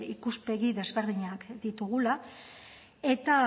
ikuspegi desberdinak ditugula eta